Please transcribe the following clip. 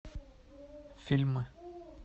фильмы